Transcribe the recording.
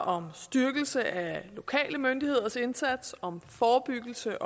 om styrkelse af lokale myndigheders indsats og om forebyggelse